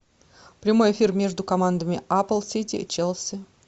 прямой эфир между командами апл сити челси